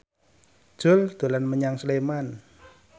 Jui dolan menyang Sleman